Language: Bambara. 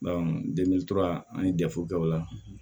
an ye jate kɛ o la